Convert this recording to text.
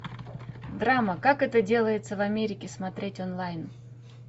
драма как это делается в америке смотреть онлайн